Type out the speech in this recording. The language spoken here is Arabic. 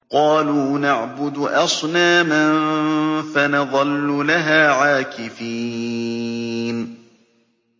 قَالُوا نَعْبُدُ أَصْنَامًا فَنَظَلُّ لَهَا عَاكِفِينَ